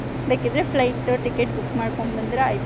ಬೇಕಿದ್ರೆ flight ticket book ಮಾಡ್ಕೊಂಡ್ ಬಂದ್ರೆ ಆಯ್ತು.